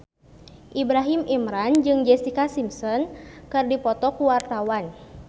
Ibrahim Imran jeung Jessica Simpson keur dipoto ku wartawan